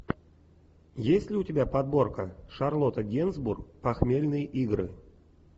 есть ли у тебя подборка шарлотта генсбур похмельные игры